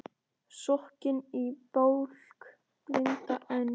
Sokkinn í bálk blinda Eng